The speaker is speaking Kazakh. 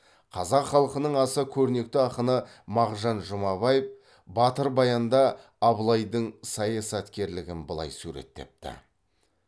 қазақ халқының аса көрнекті ақыны мағжан жұмабаев батыр баянда абылайдың саясаткерлігін былай суреттепті